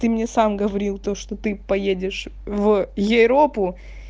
ты мне сам говорил то что ты поедешь в ейропу